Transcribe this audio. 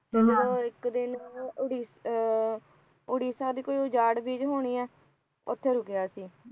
ਫਿਰ ਉਹ ਇਕ ਦਿਨ ਉਹ ਆਹ ਉੜੀਸਾ ਦੀ ਕੋਈ ਉਜਾੜ ਬੀਜ ਹੋਣੀ ਐ ਉਥੇ ਰੁਕਿਆ ਸੀ